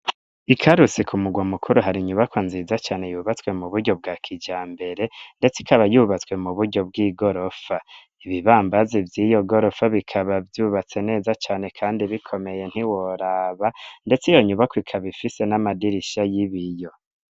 Ikarusi ku murwa mukuru hari inyubako nziza cane yubatswe mu buryo bwa kijambere ndetse ikaba yubatswe mu buryo bw'igorofa ibibambazi vy'iyo gorofa bikaba vyubatse neza cane kandi bikomeye ntiworaba ndetse iyo nyubako ikaba ifise n'amadirisha y'ibiyo.